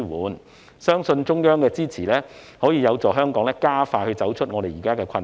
我相信中央的支持有助香港加快走出現時的困局。